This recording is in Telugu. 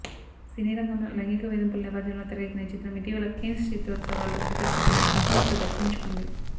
సినీరంగంలో లైంగిక వేధింపుల నేపథ్యంలో తెరకెక్కిన ఈ చిత్రం ఇటీవల కేన్స్ చిత్రోత్సవాల్లో ప్రదర్శితమై ప్రసంశలు దక్కించుకుంది